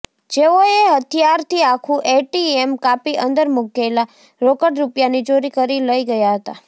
જેઓએ હથિયારથી આખું એટીએમ કાપી અંદર મૂકેલા રોકડ રૂપિયાની ચોરી કરી લઇ ગયા હતા